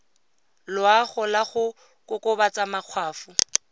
loago la go kokobatsa makgwafo